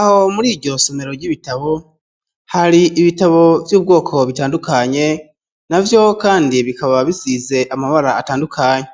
Aho muri iryo somero ry'ibitabo hari ibitabo vy'ubwoko bitandukanye na vyo kandi bikaba bisize amabara atandukanye